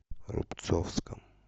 рубцовском